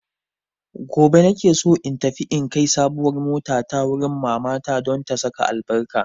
Gobe na ke so in tafi in kai sabuwar motata wurin mamata don ta saka albarka.